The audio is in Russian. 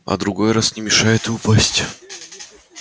а другой раз не мешает и упасть